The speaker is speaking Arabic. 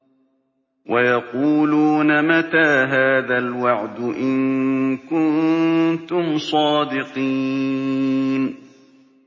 وَيَقُولُونَ مَتَىٰ هَٰذَا الْوَعْدُ إِن كُنتُمْ صَادِقِينَ